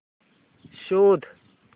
शोध